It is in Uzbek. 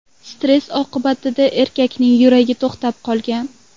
Stress oqibatida erkakning yuragi to‘xtab qolgan.